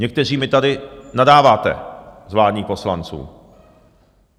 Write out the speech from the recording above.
Někteří mi tady nadáváte z vládních poslanců.